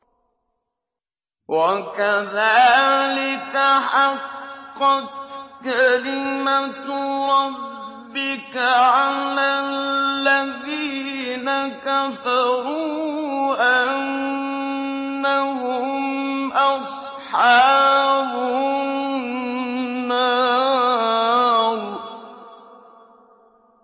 وَكَذَٰلِكَ حَقَّتْ كَلِمَتُ رَبِّكَ عَلَى الَّذِينَ كَفَرُوا أَنَّهُمْ أَصْحَابُ النَّارِ